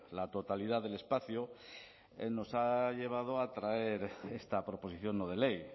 la totalidad del espacio nos ha llevado a traer esta proposición no de ley